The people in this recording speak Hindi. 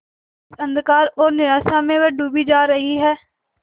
इस अंधकार और निराशा में वह डूबी जा रही है